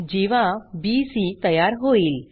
जीवा बीसी तयार होईल